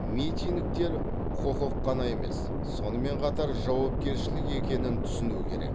митингтер құқық қана емес сонымен қатар жауапкершілік екенін түсіну керек